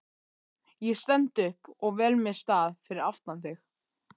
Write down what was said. Ég stend upp og vel mér stað fyrir aftan þig.